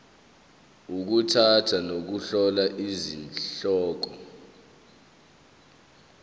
ukukhetha nokuhlola izihloko